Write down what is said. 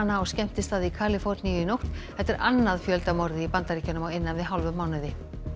á skemmtistað í Kaliforníu í nótt þetta er annað í Bandaríkjunum á innan við hálfum mánuði